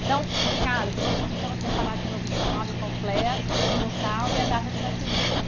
Então, Carlos, eu vou pedir para você falar de novo o seu nome completo, o local e a data de nascimento.